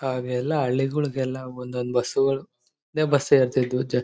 ಆಹ್ಹ್ ಎಲ್ಲ ಹಳ್ಳಿಗಳಿಗೆಲ್ಲ ಒಂದೊಂದು ಬಸ್ಸುಗಳು ಒಂದೇ ಬಸ್ ಇರುತ್ತವೆ